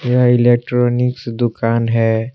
यह इलेक्ट्रॉनिक्स दुकान है।